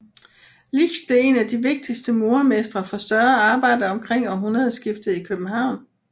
Licht blev en af de vigtigste murermestre for større arbejder omkring århundredeskiftet i København